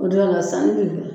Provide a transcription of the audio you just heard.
O don ka sanni bila u la